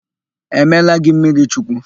E meela gị mmirichukwu?